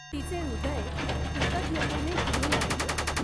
तिचे हृदय कृतज्ञतेने भरून आले होते.